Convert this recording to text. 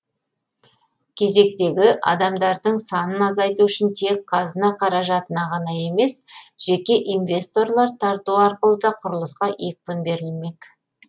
кезектегі адамдардың санын азайту үшін тек қазына қаражатына ғана емес жеке инвесторлар тарту арқылы да құрылысқа екпін берлімек